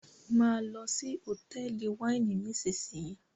mo ló sì Hotẹẹli Wáìnì nísìsiyìí!